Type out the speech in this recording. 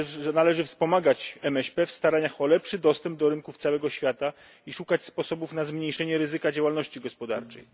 Należy wspomagać MŚP w staraniach o lepszy dostęp do rynków całego świata i szukać sposobów na zmniejszenie ryzyka działalności gospodarczej.